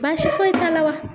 Baasi foyi t'a la wa?